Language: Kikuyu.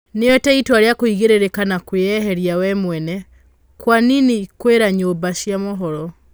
Nĩoete ĩtua rĩa kũigĩrĩrĩka na kwĩeherĩa we mwene. Kwanini kwĩra nyũmba cia mohoro.